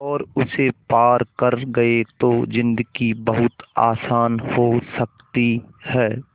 और उसे पार कर गए तो ज़िन्दगी बहुत आसान हो सकती है